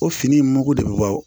O fini in mago de bɛ bɔ